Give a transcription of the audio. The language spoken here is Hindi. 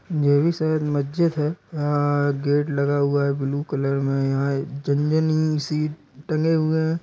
ये भी शायद मस्जिद है | आ गेट लगा हुआ है ब्लू कलर में यहाँ झनझनी सी टंगे हुए हैं।